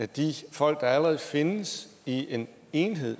de folk der allerede findes i en enhed